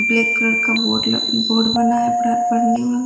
black colour का board बोर्ड बना है पढ़ने वाला --